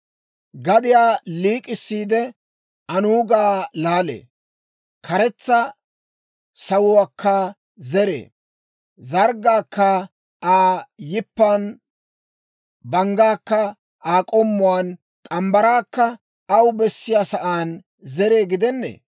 Gadiyaa liik'issiide, anuugaa laalee; karetsa sawuwaakka zeree; zarggaakka Aa yippan, banggaakka Aa k'omuwaan, morgge mitsaakka aw bessiyaa sa'aan zeree gidennee?